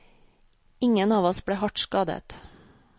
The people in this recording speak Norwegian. Ingen av oss ble hardt skadet.